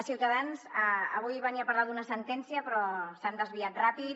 ciutadans avui venia a parlar d’una sentència però s’han desviat ràpid